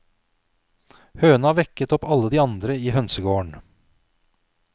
Høna vekket opp alle de andre i hønsegården.